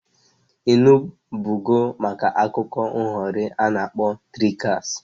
I nubugo maka akụkọ nghọrị a na-akpọ triksta?